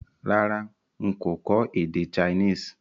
Rárá n kò kọ́ èdè Chinese